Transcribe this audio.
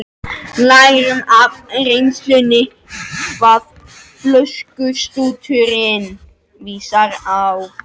Lærum af reynslunni hvað flöskustúturinn vísar á.